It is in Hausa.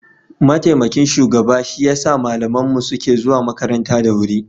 mataimakin shugaba shi ya sa malaman mu suke zuwa makaranta da wuri